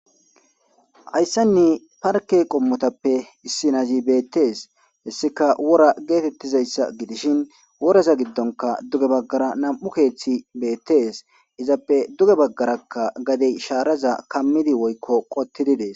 hayssan parke qommotappe issi nazi beettees hessika wora geetettizayssa gidishin woraza giddonka duge baggara nam7u keeththi beettees izappe duge baggarakka gadey shaaraza kammidi woykko qottididees